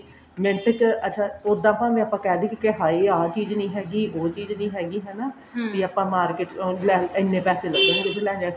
minute ਚ ਅੱਛਾ ਉੱਦਾਂ ਆਪਾਂ ਕਿਹ ਦੀਏ ਕਿ ਹਾਏ ਆਹ ਚੀਜ਼ ਨੀ ਹੈਗੀ ਉਹ ਚੀਜ਼ ਨੀ ਹੈਗੀ ਹਨਾ ਵੀ ਆਪਾਂ market ਚ ਇੰਨੇ ਪੈਸੇ ਲੱਗਣਗੇ ਜੇ ਆਪਾਂ ਲੈਕੇ ਆਉਂਦੇ ਆ